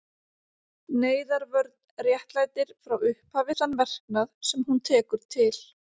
Neyðarvörn réttlætir frá upphafi þann verknað, sem hún tekur til.